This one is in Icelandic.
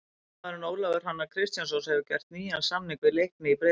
Sóknarmaðurinn Ólafur Hrannar Kristjánsson hefur gert nýjan samning við Leikni í Breiðholti.